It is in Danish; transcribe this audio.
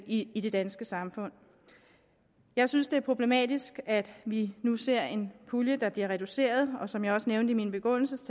i det danske samfund jeg synes det er problematisk at vi nu ser en pulje der bliver reduceret og som jeg også nævnte i min begrundelse